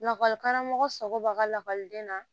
Lakɔlikaramɔgɔ sago b'a ka lakɔliden na